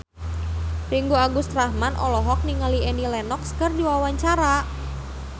Ringgo Agus Rahman olohok ningali Annie Lenox keur diwawancara